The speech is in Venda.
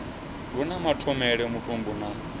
lu na mathomele mutumbu na